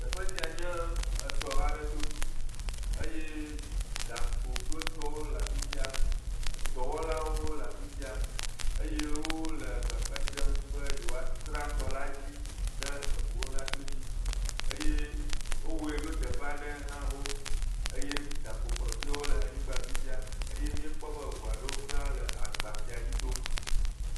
Teƒe sia nye tɔ aɖe to eye gakpo kple etɔwo le afi sia dɔwɔlawo le afi sia eye wole agbagbadzem be yewo aszra tɔ la dzi ne ʋuwo nato edzi eye wowɔe ɖo teƒe aɖe ha xo eye gakpo kpɔtɔeawo le anyigbã afi sia eye ʋu aɖewo le agba sia dzi tom